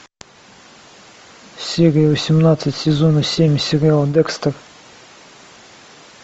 серия восемнадцать сезона семь сериал декстер